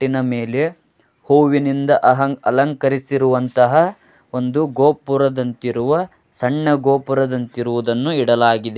ಅಟ್ಟಿನ ಮೇಲೆ ಹೂವಿನಿಂದ ಆಹಾಂ ಅಲಹಂಕಾರಿಸಿ ಇರುವಂತಹ ಒಂದು ಗೋಪುರದಂತಿರುವ ಸಣ್ಣ ಗೋಪುರದಂತಿರುವುದನ್ನು ಇಡಲಾಗಿದೆ.